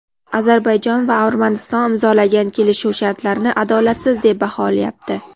Ozarbayjon va Armaniston imzolagan kelishuv shartlarini adolatsiz deb baholyapti.